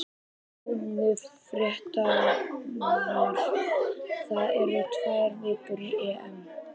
Góðu fréttirnar: það eru tvær vikur í EM.